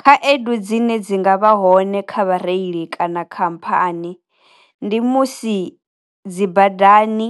Khaedu dzine dzi nga vha hone kha vhareili kana khamphani, ndi musi dzi badani